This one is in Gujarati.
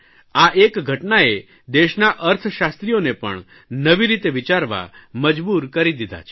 આ એક ઘટનાએ દેશના અર્થશાસ્ત્રીઓને પણ નવી રીતે વિચારવા મજબૂર કરી દીધા છે